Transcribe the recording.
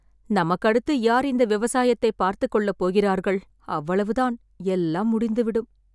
நமக்கு அடுத்து யார் இந்த விவசாயத்தை பார்த்துக் கொள்ளப்போகிறார்கள்.. அவ்வளவுதான் எல்லாம் முடிந்துவிடும்